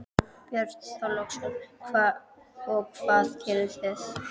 Björn Þorláksson: Og hvað gerðu þið?